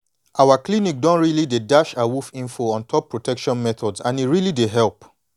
our clinic don really dey dash awoof info on top protection methods and e really dey help